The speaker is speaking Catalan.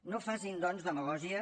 no facin doncs demagògia